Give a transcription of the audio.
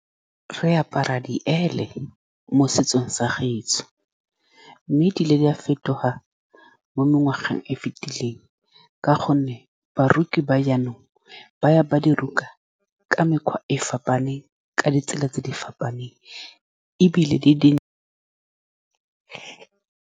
Re apara di mo setsong sa gaetsho, mme di ile di a fetoga mo mengwageng e e fitileng ka gonne baruti ba jaanong ba ya ba diroka ka mekgwa e e fapaneng, ka ditsela tse di fapaneng, ebile di-di.